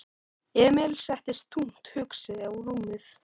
Emil settist þungt hugsi á rúmið.